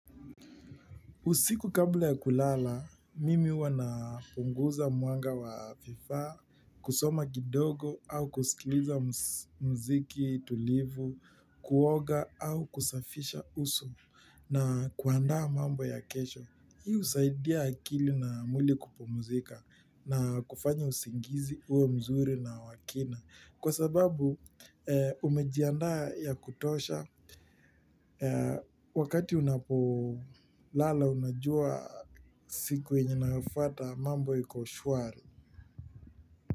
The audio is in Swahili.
Usiku kabla ya kulala, mimi huwa napunguza mwanga wa vifaa, kusoma kidogo au kusikiliza muziki tulivu, kuoga au kusafisha uso na kuandaa mambo ya kesho. Hii husaidia akili na mwili kupumzika na kufanya usingizi uwe mzuri na wa kina kwa sababu umejiandaa ya kutosha wakati unapolala unajua siku yenye inafuata mambo iko shwari.